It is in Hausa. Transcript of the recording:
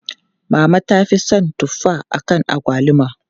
Mama ta fi son tuffa akan agwaluma.